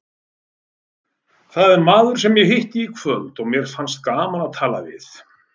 Það er maður sem ég hitti í kvöld og mér fannst gaman að tala við.